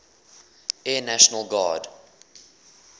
air national guard